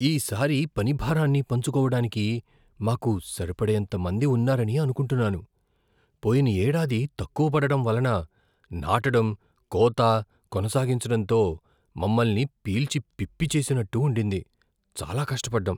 "ఈ సారి పని భారాన్ని పంచుకోవడానికి మాకు సరిపడేంత మంది ఉన్నారని అనుకుంటున్నాను. పోయిన ఏడాది తక్కువ పడడం వలన నాటడం, కోత, కొనసాగించడంతో మమ్మల్ని పీల్చిపిప్పి చేసినట్టు ఉండింది, చాలా కష్టపడ్డాం".